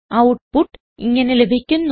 output ഇങ്ങനെ ലഭിക്കുന്നു